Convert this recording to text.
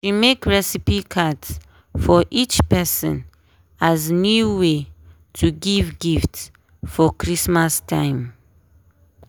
she make recipe cards for each person as new way to give gift for christmas time.